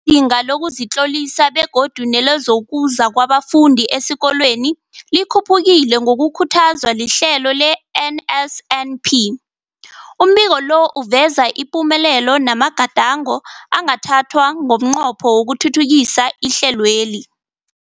inga lokuzitlolisa begodu nelokuza kwabafundi esikolweni likhuphukile ngokukhuthazwa lihlelo le-NSNP. Umbiko lo uveza ipumelelo namagadango angathathwa ngomnqopho wokuthuthukisa ihlelweli.